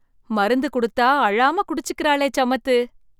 மருந்து கொடுத்தா அழம குடிச்சுக்கிறாளே சமத்து!